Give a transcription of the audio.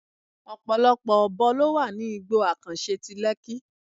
Ọ̀pọ̀lọpọ̀ Ọ̀bọ ló wà ní igbó àkànṣe ti Lekki.